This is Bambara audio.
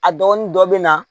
A dɔgɔnin dɔ bɛ na